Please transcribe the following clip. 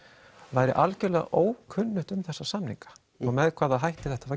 væru algjörlega ókunnugt um þessa samninga með hvaða hætti þetta var